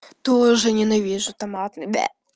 тоже ненавижу томатный бе